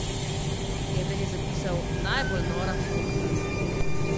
Eden je zapisal: 'Najbolj nora fotka.